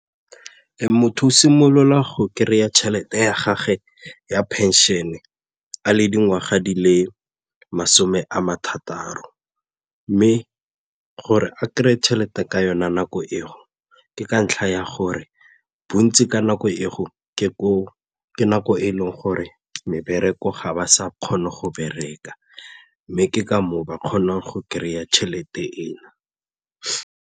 Motho o simolola go kry-a tšhelete ya gage ya phenšene a le dingwaga di le masome a mathataro mme gore a kry-e tšhelete ka yona nako e ke ka ntlha ya gore bontsi ka nako e ke gore nako e leng gore mebereko ga ba sa kgona go bereka mme ke ka moo ba kgona go kry-a tšhelete eo.